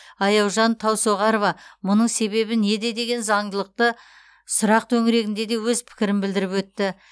аяужан таусоғарова мұның себебі неде деген заңдылықты сұрақ төңірегінде де өз пікірін білдіріп өтті